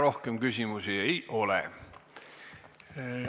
Rohkem küsimusi ei ole.